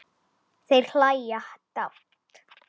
Þær hlæja dátt.